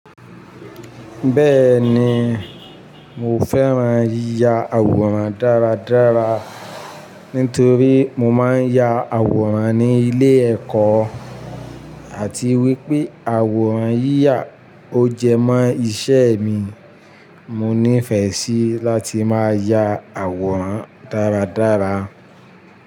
Bẹ́ẹ̀ni, mo fẹ́ran yíya àwòrán dáradára nítorí mo máa ń ya àwòrán ní ilé ẹ̀kọ́ àti wípé àwòrán yíyà ó jẹ mọ́ iṣẹ́ mi. Mo ní ìfẹ́ sí láti máa ya àwòrán dáradára.